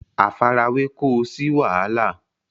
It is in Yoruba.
àfarawé kó o sí wàhálà